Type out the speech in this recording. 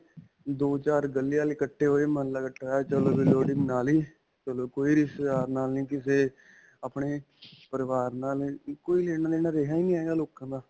ਦੋ-ਚਾਰ ਗਲੀ ਵਲੇ ਇੱਕਠੇ ਹੋਕੇ ਮੁਹਲ੍ਲਾ ਇੱਕਠਾ ਹੋਇਆ, ਚਲੋ ਵੀ ਲੋਹੜੀ ਮਨਾ ਲਈ, ਚਲੋ ਕੋਈ ਰਿਸ਼ਤੇਦਾਰ ਨਾਲ ਨਹੀਂ, ਕਿਸੇ ਆਪਣੇ ਪਰਿਵਾਰ ਨਾਲ ਨਹੀਂ, ਕੋਈ ਲੈਣਾ-ਦੇਣਾ ਰਿਹਾ ਨਹੀਂ ਹੈਗਾ ਲੋਕਾ ਦਾ.